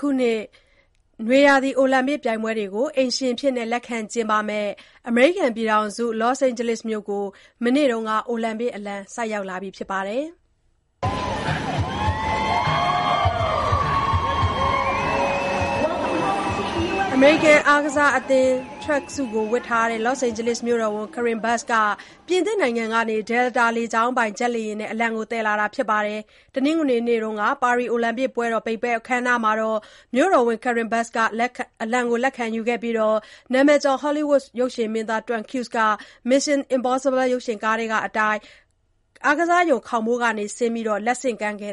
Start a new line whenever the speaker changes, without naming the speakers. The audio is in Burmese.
ခုနှစ် နွေရာသီ အိုလံပစ်ပြိုင်ပွဲတွေကို အိမ်ရှင်အဖြစ်လက်ခံကျင်းပမယ့် အမေရိကန်ပြည်ထောင်စု Los Angeles မြို့ကို မနေ့က အိုလံပစ် အလံ ဆိုက်ရောက်လာပါတယ်။ အမေရိကန် အားကစားအသင်း Tracksuit ဝတ်ထားတဲ့ Los Angeles မြို့တော်ဝန် Karen Bass က ပြင်သစ်နိုင်ငံကနေ Delta လေကြောင်းပိုင် ဂျက်လေယာဉ်နဲ့ အလံကို သယ်လာခဲ့တာပါ။ တနင်္ဂနွေနေ့က ပါရီ အိုလံပစ်ပွဲတော် ပိတ်ပွဲ အခမ်းအနားမှာ မြို့တော်ဝန် Karen Bass က အလံကို လက်ခံယူခဲ့ပြီး နာမည်ကျော် ဟောလိဝုဒ် ရုပ်ရှင်မင်းသား Tom Cruise က Mission Impossible ရုပ်ရှင်ကားထဲကအတိုင်း အားကစားရုံ ခေါင်းမိုးကနေ ဆင်းလာပြီး လက်ဆင့်ကမ်းခဲ့